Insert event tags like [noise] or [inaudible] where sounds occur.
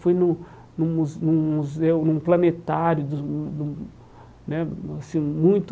Fui num num mu num museu, num planetário dos, [unintelligible] assim, muito...